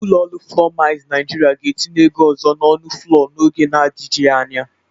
Ụlọ ọrụ flọọ Milz Naịjịrịa ga-etinye ego ọzọ n'ọnụ flọọ n'oge na-adịgji anya.